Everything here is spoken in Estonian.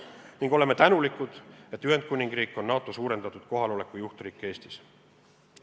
Me oleme tänulikud, et Ühendkuningriik on NATO suurendatud kohaloleku juhtriik Eestis.